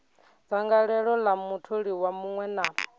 dzangalelo ḽa mutholiwa muṅwe na